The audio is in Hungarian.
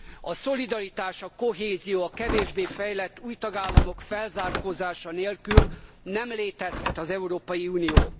A szolidaritás, a kohézió, a kevésbé fejlett új tagállamok felzárkózása nélkül nem létezhet az Európai Unió.